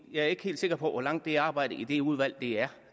jeg er ikke helt sikker på hvor langt det arbejde i det udvalg er